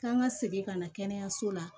K'an ka segin ka na kɛnɛyaso la